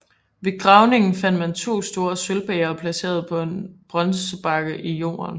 Ved gravningen fandt man to store sølvbægre placeret på en bronzebakke i jorden